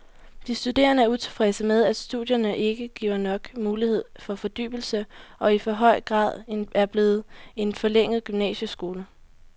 De studerende er utilfredse med, at studierne ikke giver nok mulighed for fordybelse og i for høj grad er blevet en forlænget gymnasieskole.